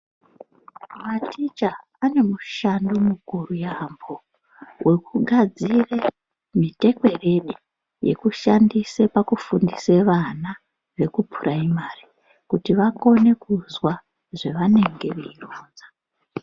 Mateicha ane mushando mukuru yampo wokugadzire mutekwerede yekushandise pakufundise vana vekupuraimari kuti vakone kuzwa zvavanenge veironza .